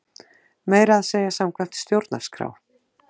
Meira að segja samkvæmt stjórnarskrá!